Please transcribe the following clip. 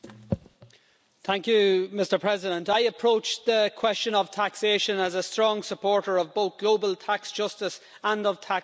Mr President, I have approached the question of taxation as a strong supporter of both global tax justice and of tax sovereignty for national parliaments.